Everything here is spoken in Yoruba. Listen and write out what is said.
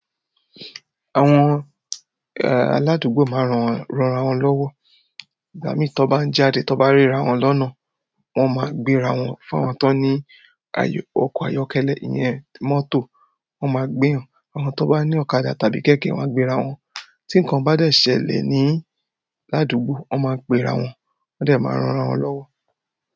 Àwọn aládùúgbò máa ń rọran wọ́n lọ́wọ́. Igbami tó ń bá jáde tó bá rí ara wọ́n lọ́nà, wọ́n máa ń gbéra wọ́n fún àwọn tó ní ọkọ̀ ayọ́kẹ́lẹ́ ìyẹn mọ́tò wọ́n máa gbé èyàn. Àwọn tó bá ní ọ̀kadà tàbí kẹ̀kẹ́, wọ́n gbe ra wọn. Tí nǹkan bá dẹ̀ ṣẹlẹ̀ ní ládùúgbò, wọ́n máa pè ra wọn, wọ́n dẹ̀ máa ń rọra wọ́n lọ́wọ́.